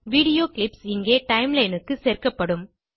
video clips இங்கே timeline க்கு சேர்க்கப்படும்